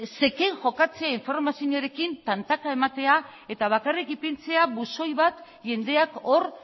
zeken jokatzea informazioarekin tantaka ematea eta bakarrik ipintzea buzoi bat jendeak hor